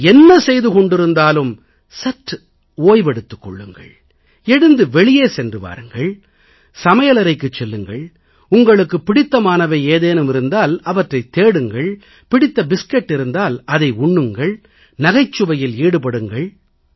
நீங்கள் என்ன செய்து கொண்டிருந்தாலும் சற்று ஓய்வு எடுத்துக் கொள்ளுங்கள் எழுந்து வெளியே சென்று வாருங்கள் சமையலறைக்குச் செல்லுங்கள் உங்களுக்குப் பிடித்தமானவை ஏதேனும் இருந்தால் அவற்றைத் தேடுங்கள் பிடித்த பிஸ்கட் இருந்தால் அதை உண்ணுங்கள் நகைச்சுவையில் ஈடுபடுங்கள்